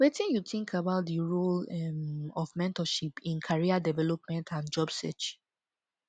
wetin you think about di role um of mentorship in career development and job search